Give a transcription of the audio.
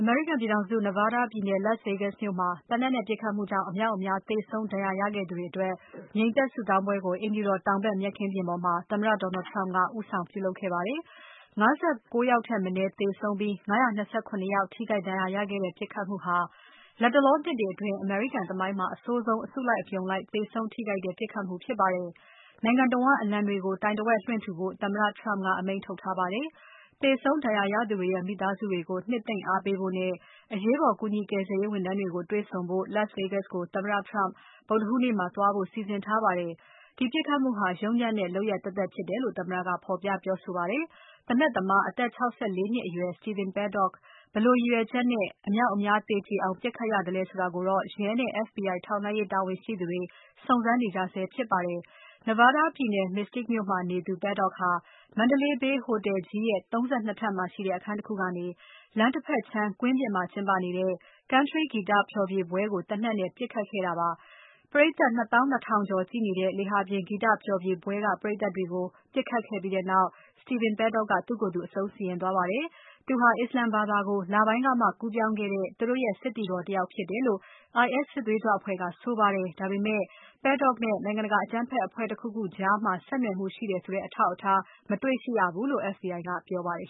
မေရိကန်ပြည်ထောင်စု Nevada ပြည်နယ် Las Vegas မြို့မှာ သေနတ်နဲ့ပစ်ခတ်မှုကြောင့် အမြောက်အများသေဆုံး ဒဏ်ရာရခဲ့သူတွေအတွက် ငြိမ်သက်ဆုတောင်းပွဲကို အိမ်ဖြူတော် တောင်ဖက်မြက်ခင်းပြင်ပေါ်မှာ သမ္မတ Donald Trump က ဦးဆောင်ပြုလုပ်ခဲ့ပါတယ်။ ၅၉ ယောက်ထက် မနည်းသေဆုံးပြီး ၅၂၇ ယောက်ထိခိုက်ဒဏ်ရာရခဲ့တဲ့ ပစ်ခတ်မှုဟာ လတ်တလောနှစ်တွေအတွင်း အမေရိကန်သမိုင်းမှာအဆိုးဆုံး အစုလိုက် အပြုံလိုက် သေဆုံးထိခိုက်တဲ့ ပစ်ခတ်မှုဖြစ်ပါတယ်။ နိုင်ငံတဝန်းအလံတွေကို တိုင်တဝက်လွှင့်ထူဖို့ သမ္မတ Trump ကအမိန့်ထုတ်ထားပါတယ်။ သေဆုံး ဒဏ်ရာရသူတွေရဲ့ မိသားစုတွေကို နှစ်သိမ့်အားပေးဖို့နဲ့ အရေးပေါ် ကူညီကယ်ဆယ်ရေးဝန်ထမ်းတွေကို တေ့ွဆုံဖို့ Las Vegas ကို သမ္မတ Trump ဗုဒ္ဓဟူးနေ့မှာ သွားဖို့ စီစဉ်ထားပါတယ်။ ဒီပြစ်ခတ်မှုဟာ ယုတ်ညံ့တဲ့လုပ်ရပ်သက်သက်ဖြစ်တယ်လို့ သမ္မတက ဖော်ပြပြောဆိုခဲ့ပါတယ်။ သေနတ်သမား အသက် ၆၄ နှစ်အရွယ် Stephen Paddock ဘယ်လိုရည်ရွယ်ချက်နဲ့ အမြောက်အများသေကြေအောင် ပြစ်ခတ်ရသလဲဆိုတာကို ရဲနဲ့ FBI ထောက်လှမ်းရေး တာဝန်ရှိသူတွေ စုံစမ်းနေကြဆဲဖြစ်ပါတယ်။ Nevada ပြည်နယ် Mesquite မြို့မှာ နေသူ Paddock ဟာ Mandalay Bay ဟိုတယ်ကြီးရဲ့ ၃၂ ထပ်မှာရှိတဲ့ အခန်းတခုကနေ လမ်းတဖက်ခြမ်း ကွင်းပြင်မှာကျင်းပနေတဲ့ Country ဂီတဖျော်ဖြေပွဲကို သေနတ်နဲ့ပစ်ခတ်ခဲ့တာပါ။ ပရိတ်သတ် ၂ သောင်း ၂ ထောင်ကျော်ကြည့်နေတဲ့ လေဟာပြင်ဂီတဖျော်ဖြေပွဲ ပရိတ်သတ်တွေကို ပစ်ခတ်ခဲ့ပြီးနောက် Stephen Paddock ကသူ့ကိုသူ အဆုံးစီရင်သွားပါတယ်။ သူဟာ အစ္စလာမ်ဘာသာကို လပိုင်းကမှ ကူးပြောင်းခဲ့တဲ့ သူတို့ရဲ့ စစ်သည်တော်တယောက်ဖြစ်တယ်လို့ IS စစ်သွေးကြွအဖွဲ့က ဆိုပါတယ်။ ဒါပေမဲ့ Paddock နဲ့ နိုင်ငံတကာအကြမ်းဖက်အဖွဲ့တခုခုကြား ဆက်နွယ်မှုရှိတယ်ဆိုတဲ့ အထောက်အထား မတွေ့ရဘူးလို့ FBI ကပြောပါတယ်